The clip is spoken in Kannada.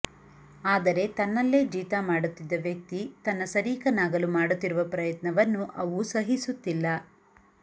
ಆದರೆ ತನ್ನಲ್ಲೇ ಜೀತ ಮಾಡುತ್ತಿದ್ದ ವ್ಯಕ್ತಿ ತನ್ನ ಸರೀಕನಾಗಲು ಮಾಡುತ್ತಿರುವ ಪ್ರಯತ್ನವನ್ನು ಅವು ಸಹಿಸುತ್ತಿಲ್ಲ